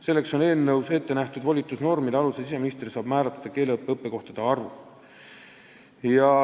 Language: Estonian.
Selleks on eelnõus ette nähtud, et siseminister saab volitusnormide alusel määrata keeleõppe õppekohtade arvu.